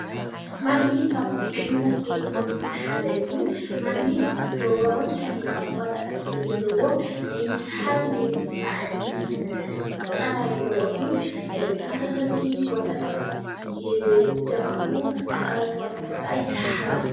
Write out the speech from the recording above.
ማግኔት ካብቶም ዓይነታት ኤሌክትሮኒክስ ሓደ እዮ። ማግኔት ደቡባውን ሰሜናውን ዋልታታት ስለ ዘለውዎ ናይ ምስሓብን ናይ ምድፋእን ፀባይ ኣለዎ እዩ። ተመሳሰልቲ ዋልታታት ይዳፋፍኡ ተፃረርቲ ዋልታታት ከዓ ይሰሓሓቡ።